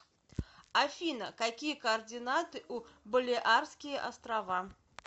афина какие координаты у балеарские острова